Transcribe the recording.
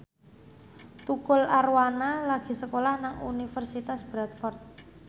Tukul Arwana lagi sekolah nang Universitas Bradford